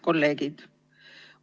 Kolleegid!